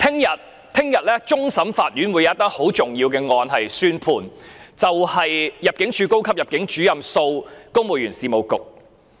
明天，終審法院會有一宗很重要的案件宣判，就是入境處高級入境主任訴公務員事務局。